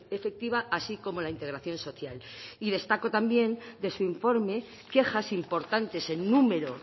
efectiva así como la integración social y destaco también de su informe quejas importantes en número